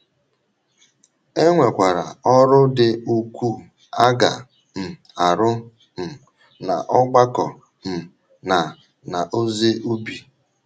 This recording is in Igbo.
E nwekwara ọrụ dị ukwuu a ga - um arụ um n’ọgbakọ um na n’ozi ubi.